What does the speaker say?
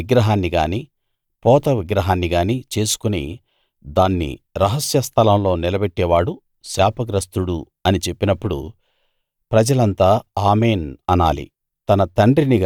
మలిచిన విగ్రహాన్ని గానీ పోత విగ్రహాన్ని గానీ చేసుకుని దాన్ని రహస్య స్థలంలో నిలబెట్టేవాడు శాపగ్రస్తుడు అని చెప్పినప్పుడు ప్రజలంతా ఆమేన్‌ అనాలి